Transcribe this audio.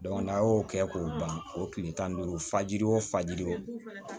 n'a y'o kɛ k'o ban o tile tan ni duuru fajiri o faji o